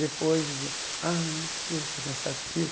Depois, dizia, ah esse curso é cansativo.